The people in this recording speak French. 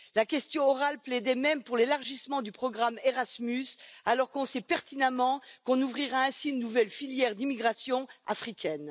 La question orale plaidait même pour l'élargissement du programme Erasmus, alors qu'on sait pertinemment qu'on ouvrira ainsi une nouvelle filière d'immigration africaine.